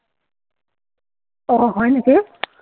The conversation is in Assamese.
অ, হয় নেকি?